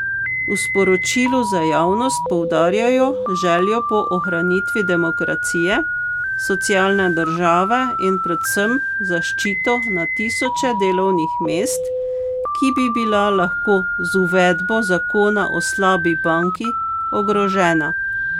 V sporočilu za javnost poudarjajo željo po ohranitvi demokracije, socialne države in predvsem zaščito na tisoče delovnih mest, ki bi bila lahko z uvedbo zakona o slabi banki ogrožena.